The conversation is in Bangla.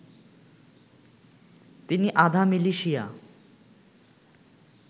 তিনি আধা মিলিশিয়া